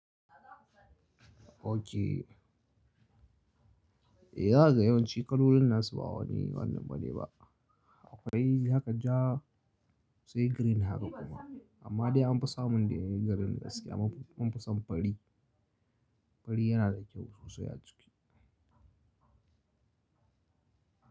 Okay. Eh yaga yawanci kalolin nasu ba wani wannan bane ba. Akwai haka ja sai green haka kuma. Amma dai an fi samun dai garin haske an fi san fari. Fari yana da kyau sosai a ciki.